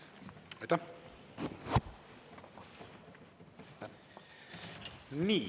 Aitäh!